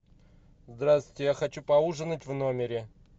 здравствуйте я хочу поужинать в номере